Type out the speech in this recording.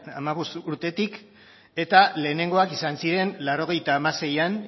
hamabost urtetik eta lehenengoak izan ziren laurogeita hamaseian